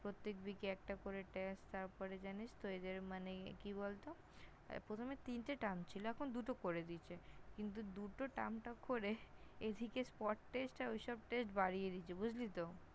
প্রত্যেক Week -এ একটা করে Test, তারপরে জানিস তো এদের মানে, কি বলত প্রথমে তিনটে Term ছিল, এখন দুটো করে দিয়েছে। কিন্তু দুটো Term টা করে, এদিকে Word Test ওইসব Test বাড়িয়ে দিয়েছে বুঝলি তো?